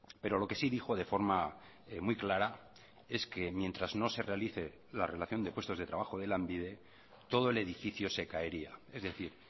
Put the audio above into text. pero lo que sí dijo de forma muy clara es que mientras no se realice la relación de puestos de trabajo de lanbide todo el edificio se caería es decir